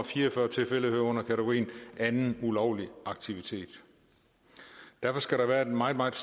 fire og fyrre tilfælde hører under kategorien anden ulovlig aktivitet derfor skal der være et meget meget